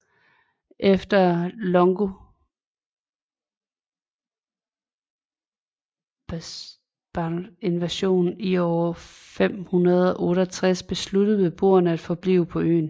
Efter longobardernes invasion i år 568 beslutter beboerne at forblive på øerne